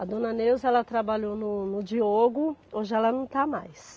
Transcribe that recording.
A Dona Neuza ela trabalhou no no Diogo, hoje ela não está mais.